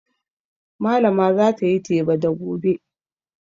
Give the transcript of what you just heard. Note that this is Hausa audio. Malama za ta yi teba da gobe.